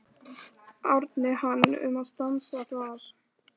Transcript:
Árni hann um að stansa þar.